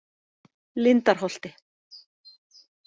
Lindarholti